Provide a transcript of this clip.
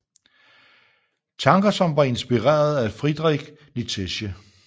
Tanker som var inspireret af Friedrich Nietzsche